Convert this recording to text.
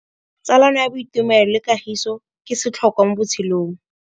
Tsalano ya boitumelo le kagiso ke setlhôkwa mo botshelong.